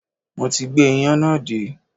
Mo ti gbé iyán náà dé